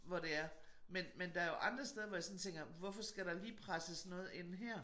Hvor det er men men der jo andre steder hvor jeg sådan tænker hvorfor skal der lige presses noget ind her?